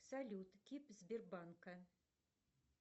салют кип сбербанка